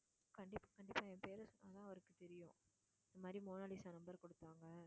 கண்டிப்~ கண்டிப்பா என் பேரை சொன்னா அவருக்கு தெரியும் இந்த மாதிரி மோனாலிசா number கொடுத்தாங்க.